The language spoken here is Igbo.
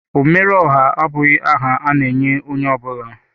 Omere ọha abụghị aha a na-enye onye ọ bụla.